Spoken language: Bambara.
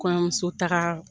Kɔɲɔmuso taga